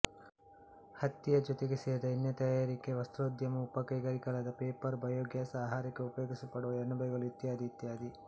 ಹತ್ತಿಯ ಜೊತೆಗೆ ಸೇರಿದ ಎಣ್ಣೆ ತಯಾರಿಕೆ ವಸ್ತ್ರೋದ್ಯಮ ಉಪಕೈಗಾರಿಕೆಗಳಾದ ಪೇಪರ್ ಬಯೋ ಗ್ಯಾಸ್ ಆಹಾರಕ್ಕೆ ಉಪಯೋಗಿಸಲ್ಪಡುವ ಅಣಬೆಗಳು ಇತ್ಯಾದಿ ಇತ್ಯಾದಿ